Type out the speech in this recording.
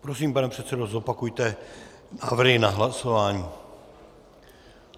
Prosím, pane předsedo, zopakujte návrhy na hlasování.